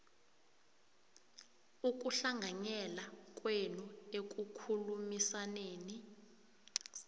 ukuhlanganyela kwenu ekukhulumisaneni